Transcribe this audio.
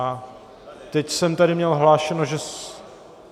A teď jsem tady měl hlášeno, že...